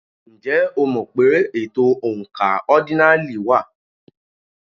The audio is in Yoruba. Ǹjẹ́ o mọ̀ pé ètò oǹkà ọ́dínààlí wà?